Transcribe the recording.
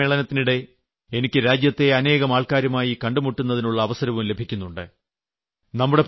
parliament സമ്മേളനത്തിനിടെ എനിക്ക് രാജ്യത്തെ അനേകം ആൾക്കാരുമായി കണ്ടുമുട്ടുന്നതിനുളള അവസരവും ലഭിക്കുന്നുണ്ട്